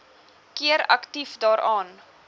keer aktief daaraan